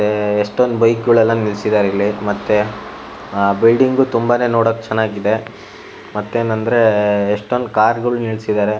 ಏಏಏ ಎಷ್ಟೊಂದ್ ಬೈಕ್ಗೋಳೆಲ್ಲಾ ನಿಲ್ಸಿದಾರಿಲ್ಲಿ ಮತ್ತೆ ಅ ಬ್ಯುಲ್ಡಿಂಗು ತುಂಬಾನೇ ನೋಡಕ್ ಚೆನ್ನಾಗ್ ಇದೆ ಮತ್ತೆನಂದ್ರೆ ಎಷ್ಟೊಂದು ಕಾರ್ ಗುಳು ನಿಲ್ಸಿದ್ದರೆ.